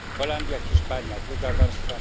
Holandia, Hiszpania druga warstwa